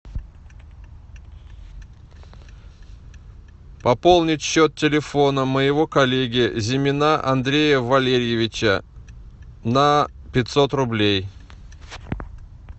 пополнить счет телефона моего коллеги зимина андрея валерьевича на пятьсот рублей